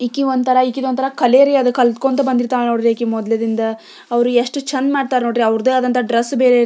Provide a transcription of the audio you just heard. ನಮ್ಮ ಶಾಲೆಯ ಹುಡಿಗ್ಗಿಯರು ಭರತನಾಟ್ಯಮ್ವನ್ನು ಮಾಡುತಿ್ದಾರೆ--